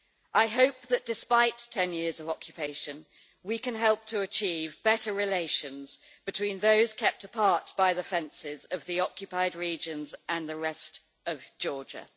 I hope that despite 10 years of occupation, we can help to achieve better relations between those kept apart by the fences of the occupied regions and the rest of Georgia.